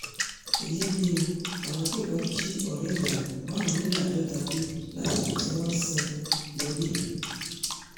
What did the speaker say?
èyí lè o àwọn agbébọn jí ọ̀rẹ́ ìyàwó márùnléláàádọ́ta gbé lásìkò tí wọ́n ń sìn ín lọ sílé